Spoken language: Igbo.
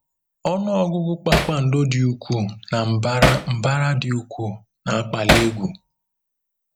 Ọnụ ọgụgụ kpakpando dị ukwuu na mbara mbara dị ukwuu na-akpali egwu.